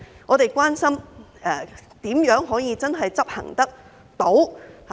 我們關心的是如何能真正執行得到。